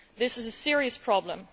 This is a serious problem.